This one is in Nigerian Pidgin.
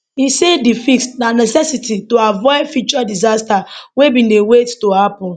e say di fix na necessity to avoid future disaster wey bin dey wait to happun